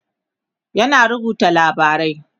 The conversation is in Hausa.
yana rubuta labarai